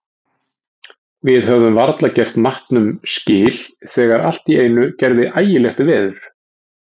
Við höfðum varla gert matnum skil þegar allt í einu gerði ægilegt veður.